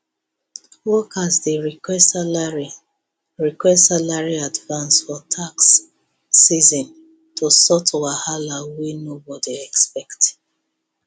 workers dey request salary request salary advance for tax season to sort wahala wey nobody expect